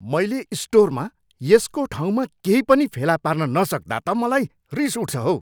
मैले स्टोरमा यसको ठाउँमा केही पनि फेला पार्न नसक्दा त मलाई रिस उठ्छ हौ।